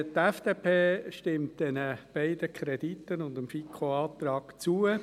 Die FDP stimmt diesen beiden Krediten und dem FiKo-Antrag zu.